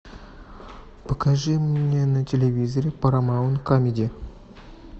покажи мне на телевизоре парамаунт камеди